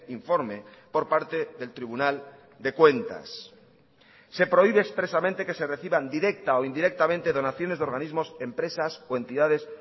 informe por parte del tribunal de cuentas se prohíbe expresamente que se reciban directa o indirectamente donaciones de organismos empresas o entidades